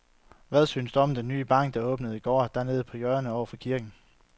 Hvad synes du om den nye bank, der åbnede i går dernede på hjørnet over for kirken?